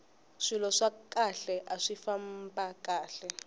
swilo swa khale aswi famba kahle